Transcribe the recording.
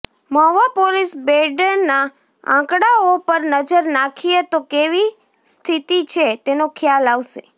Mahuva police બેડાના આંકડાઓ પર નજર નાખીએ તો કેવી સ્થીતી છે તેનો ખ્યાલ આવશે